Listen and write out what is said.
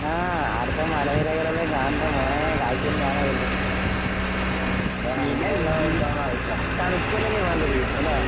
ആഹ് ആടത്തെ മലനിരകളെല്ലാം കാണണ്ട മോനെ കാഴ്ച്ചെന്നെയാണ് എല്ലാം. തണുപ്പെല്ലാം അല്ലേ വേണ്ടത്? അല്ലേ?